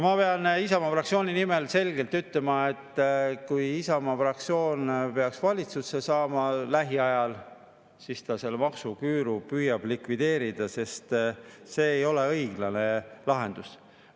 Ma pean Isamaa fraktsiooni nimel selgelt ütlema, et kui Isamaa fraktsioon peaks valitsusse saama lähiajal, siis ta püüab selle maksuküüru likvideerida, sest see ei ole õiglane lahendus.